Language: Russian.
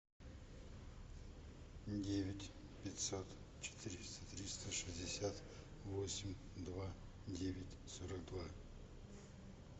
девять пятьсот четыреста триста шестьдесят восемь два девять сорок два